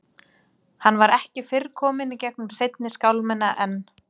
Hann var ekki fyrr kominn í gegnum seinni skálmina en